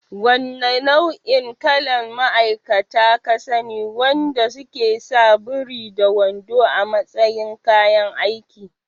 Wanna nau'o'in kalan ma'aikata ka sani wanda suke sa buri da wando a matsayin kayan aiki?